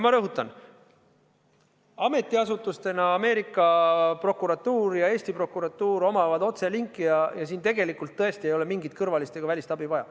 Ma rõhutan: ametiasutustena Ameerika prokuratuur ja Eesti prokuratuur omavad otselinki ja siin tegelikult tõesti ei ole mingit kõrvalist ega välist abi vaja.